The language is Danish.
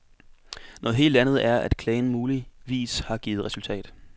Noget helt andet er, at klagen muligvis har givet resultat.